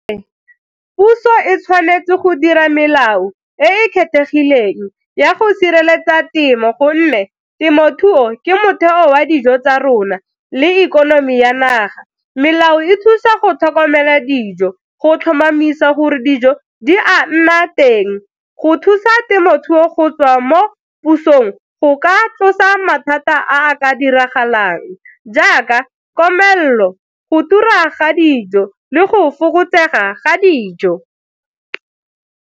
Ee, puso e tshwanetse go dira melao e e kgethegileng ya go sireletsa temo gonne temothuo ke motheo wa dijo tsa rona le ikonomi ya naga. Melao e thusa go tlhokomela dijo go tlhomamisa gore dijo di a nna teng, go thusa temothuo go tswa mo pusong, go ka tlosa mathata a ka diragalang jaaka komelelo, go tura ga dijo, le go fokotsega ga dijo.